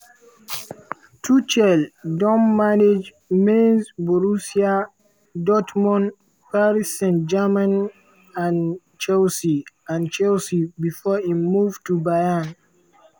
tuchel don manage mainz borussia dortmund paris st-germain and chelsea and chelsea bifor im move to bayern.